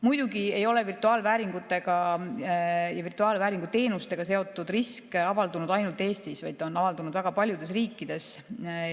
Muidugi ei ole virtuaalvääringutega ja virtuaalvääringu teenusega seotud risk avaldunud ainult Eestis, vaid on avaldunud väga paljudes riikides.